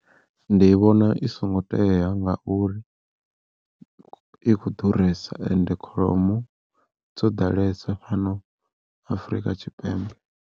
Ndi vhona i songo tea ngauri i kho ḓuresa ende kholomo dzo ḓalesa fhano Afrika Tshipembe.